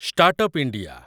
start up India